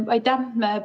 Aitäh!